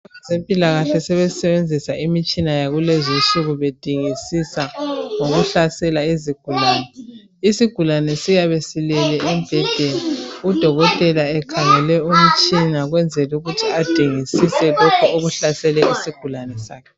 Abezimpilakahle sebesenzisa imitshina yakulezi nsuku bedingisisa ngokuhlasela isugulane, isugulane siyabe silele embhedeni udokotela ekhangele umtshina okwenzela ukuthi adingisise lokhu okuhlasela isigulane sakhe .